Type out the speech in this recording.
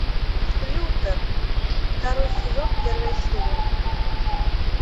лютер второй сезон первая серия